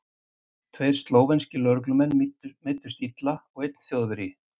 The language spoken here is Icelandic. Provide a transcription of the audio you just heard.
Tveir slóvenskir lögreglumenn meiddust illa og einn þjóðverji.